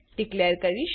declare કરીશ